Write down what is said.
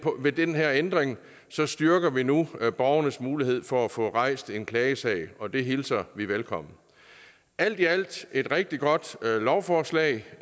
med den her ændring styrker vi nu borgernes mulighed for at få rejst en klagesag og det hilser vi velkommen alt i alt er et rigtig godt lovforslag